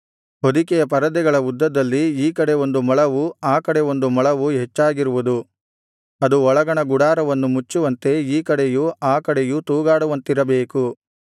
ಹೊದಿಕೆಯ ಪರದೆಗಳ ಉದ್ದದಲ್ಲಿ ಈ ಕಡೆ ಒಂದು ಮೊಳವೂ ಆ ಕಡೆ ಒಂದು ಮೊಳವೂ ಹೆಚ್ಚಾಗಿರುವುದು ಅದು ಒಳಗಣ ಗುಡಾರವನ್ನು ಮುಚ್ಚುವಂತೆ ಈ ಕಡೆಯೂ ಆ ಕಡೆಯೂ ತೂಗಾಡುವಂತಿರಬೇಕು